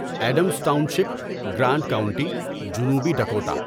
Adams Township, Grant County, جنوبی Dakota